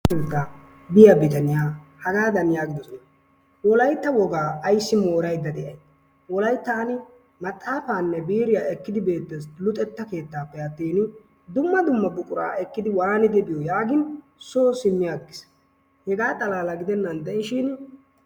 Biya bitaniya hagaadan yaagidosona wolaytta wogaa ayssi ayssi mooraydda de"ayi wolayttan maxaafaanne biiriya ekkidi beettes luxetta keettaappe attin dumma dumma buquraa ekkidi waanidi biyo yaagin soo simmi aggis. Hegaa xalaala gidennan de"ishin....